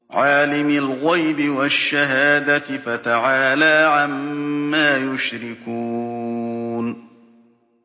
عَالِمِ الْغَيْبِ وَالشَّهَادَةِ فَتَعَالَىٰ عَمَّا يُشْرِكُونَ